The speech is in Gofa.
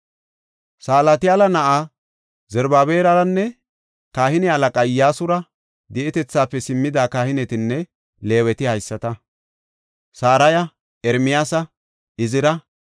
Salatiyaala na7aa Zarubaabelaranne kahine halaqaa Iyyasura di7ope simmida kahinetinne Leeweti haysata: Saraya, Ermiyaasa, Izira,